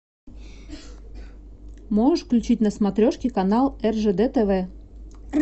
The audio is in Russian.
можешь включить на смотрешке канал ржд тв